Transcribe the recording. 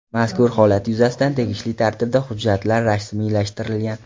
Mazkur holat yuzasidan tegishli tartibda hujjatlar rasmiylashtirilgan.